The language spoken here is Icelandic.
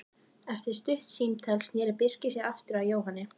Eftir stutt símtal sneri Birkir sér aftur að Jóhanni.